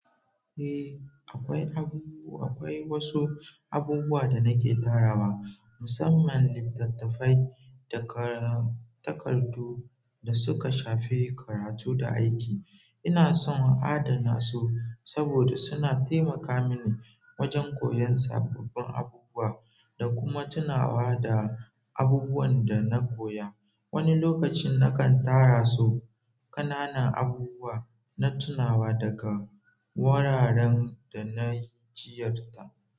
Eh, akwai wasu abubuwa da nake tarawa, musamman littattafai da takardu da suka shafi karatu da aiki. Ina son adana su saboda suna taimaka mini wajen koyon sabbin abubuwa da kuma tunawa da abubuwan da na koya. Wani lokacin nakan tara su ƙananan abubuwa na tunawa daga wuraren da na ziyarta.